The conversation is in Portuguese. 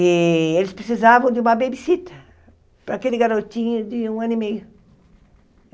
E eles precisavam de uma babysitter para aquele garotinho de um ano e meio.